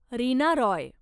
Reena Roy